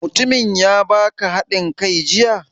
Mutumin ya baka haɗin kai jiya?